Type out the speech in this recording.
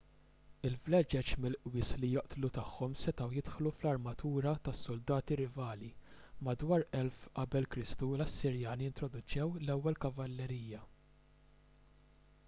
il-vleġeġ mill-qwies li joqtlu tagħhom setgħu jidħlu fl-armatura tas-suldati rivali. madwar 1000 q.k l-assirjani introduċew l-ewwel kavallerija